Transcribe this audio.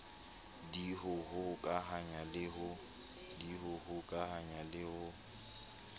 d ho hokahanya le ho